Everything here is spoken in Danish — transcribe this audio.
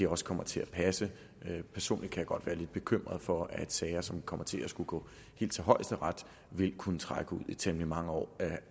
også kommer til at passe personligt kan jeg godt være lidt bekymret for at sager som kommer til at skulle gå helt til højesteret vil kunne trække ud i temmelig mange år